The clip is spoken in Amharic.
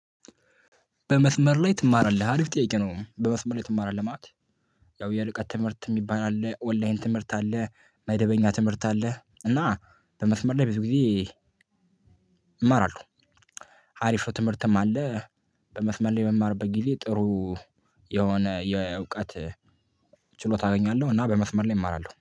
በመስመር ላይ ትማራለህ? አሪፍ ጥያቄ ነው። በመስመር ላይ ትማራለህ? ማለት ያው የርቀት ትምህርት የሚባል አለ፣ ኦንላይን ትምህርት አለ፣ መደበኛ ትምህርት አለ። እና በመስመር ላይ ብዙ ጊዜ እማራለሁ። አሪፍ ትምህርትም አለ በመስመር ላይ የምማርበት ጊዜ ጥሩ የሆነ የእውቀት ችሎታ አገኛለሁ። እና በመስመር ላይ እማራለሁ።